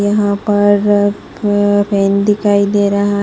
यहां पर पे पेन दिखाई दे रहा है।